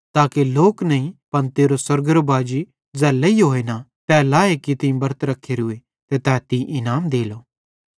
ताके लोक नईं पन तेरो स्वर्गेरो बाजी ज़ै लेइहोतोए न तै लाए कि तीं बरत रख्खोरूए तै तीं इनाम देलो